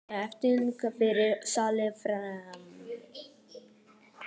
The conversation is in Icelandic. Ég hafði endanlega fyrirgefið sjálfri mér.